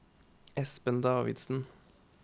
Espen Davidsen